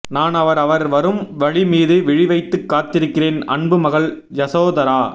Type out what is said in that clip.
நான் அவர் அவர் வரும் வழி மீது விழி வைத்துக் காத்திருக்கிறேன் அன்பு மகள் யசோதரா